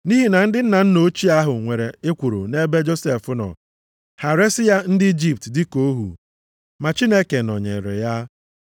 “Nʼihi na ndị nna ochie ahụ nwere ekworo nʼebe Josef nọ. Ha resi ya ndị Ijipt dịka ohu. Ma Chineke nọnyeere ya,